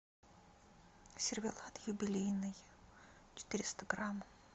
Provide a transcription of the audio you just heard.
сервелат юбилейный четыреста грамм